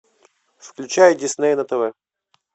включай дисней на тв